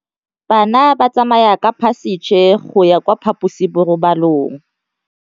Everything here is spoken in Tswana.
Bana ba tsamaya ka phašitshe go ya kwa phaposiborobalong.